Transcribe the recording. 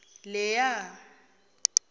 leya